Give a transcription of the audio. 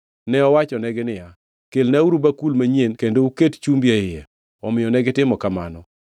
Ne owachonegi niya, “Kelnauru bakul manyien kendo uket chumbi e iye.” Omiyo negitimo kamano.